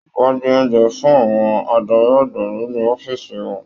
Wọn gbé oúnjẹ fún àwọn adarí àgbà nínú ọ̀fiísí wọn.